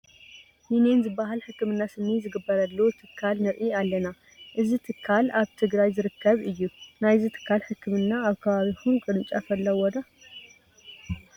ዩኔን ዝበሃል ሕክምና ስኒ ዝግበረሉ ትካል ንርኢ ኣለና፡፡ እዚ ትካል ኣብ ትግራይ ዝርከብ እዩ፡፡ ናይዚ ትካል ሕክምና ኣብ ከባቢኹም ቅርንጫፍ ኣለዎ ዶ?